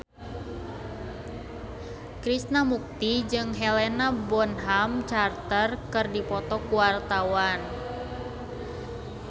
Krishna Mukti jeung Helena Bonham Carter keur dipoto ku wartawan